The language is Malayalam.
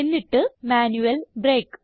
എന്നിട്ട് മാന്യുയൽ ബ്രേക്ക്